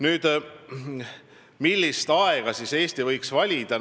Nüüd, millise aja Eesti võiks valida?